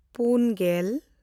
ᱯᱩᱱᱼᱜᱮᱞ